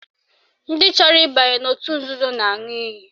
Ndị chọrọ ịbanye n'otu nzuzo na-aṅụ iyi